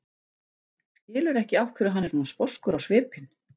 Skilur ekki af hverju hann er svona sposkur á svipinn.